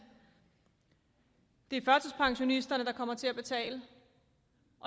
det er førtidspensionisterne der kommer til at betale